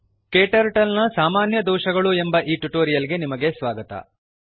KTurtle ನ ಸಾಮಾನ್ಯ ದೋಷಗಳು ಎಂಬ ಈ ಟ್ಯುಟೋರಿಯಲ್ ಗೆ ನಿಮಗೆ ಸ್ವಾಗತ